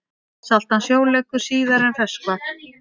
Saltan sjó leggur síðar en ferskvatn.